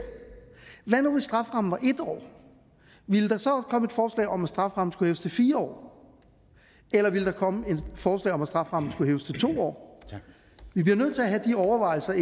hvad nu hvis strafferammen var en år ville der så komme et forslag om at strafferammen skulle hæves til fire år eller ville der komme et forslag om at strafferammen skulle hæves til to år vi bliver nødt til at have de overvejelser